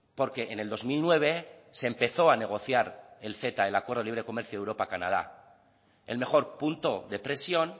porque en el dos mil nueve se empezó a negociar el ceta el acuerdo de libre comercio de europa canadá el mejor punto de presión